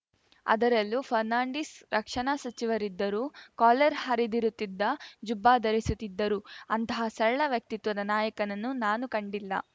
ಅದರಲ್ಲೂ ಫರ್ನಾಂಡೀಸ್‌ ರಕ್ಷಣಾ ಸಚಿವರಿದ್ದರೂ ಕಾಲರ್‌ ಹರಿದಿರುತ್ತಿದ್ದ ಜುಬ್ಬಾ ಧರಿಸುತ್ತಿದ್ದರು ಅಂತಹ ಸರಳ ವ್ಯಕ್ತಿತ್ವದ ನಾಯಕನನ್ನು ನಾನು ಕಂಡಿಲ್ಲ